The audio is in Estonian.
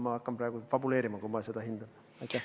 Ma hakkaksin praegu fabuleerima, kui ma seda hindaksin.